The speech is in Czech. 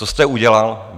Co jste udělal?